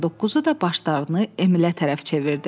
Atların doqquzu da başlarını Emilə tərəf çevirdi.